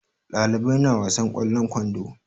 Ɗalibai na wasan ƙwallon kwando.